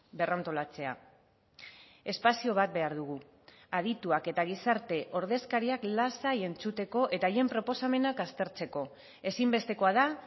berrantolatzea espazio bat behar dugu adituak eta gizarte ordezkariak lasai entzuteko eta haien proposamenak aztertzeko ezinbestekoa da